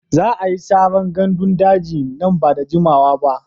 Za a yi saran gandun daji nan ba da jimawa ba.